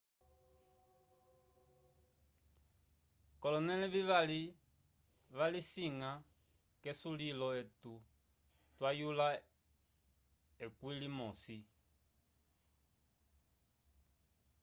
kolonele vivali valisina kesulilo etu twa yula ekwi li mosi